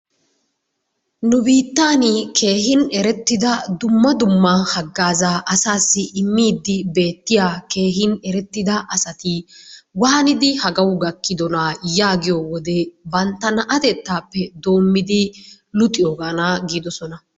Nu biittan keehin erettidaa dumma dumma haggaazaa asassi immdi beetiya keehin erettida asati waanidi hagawu gakkiddona yaagiyo wode bantta naatettaappe doommidi luxiyogaana giiddosona.